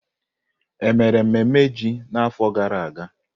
Emere mmemme ji n'afọ gara aga?